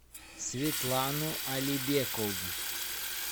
светлану алибекову